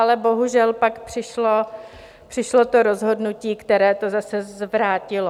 Ale bohužel, pak přišlo to rozhodnutí, které to zase zvrátilo.